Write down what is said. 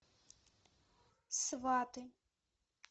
сваты